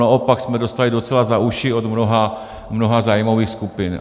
Naopak jsme dostali docela za uši od mnoha zájmových skupin.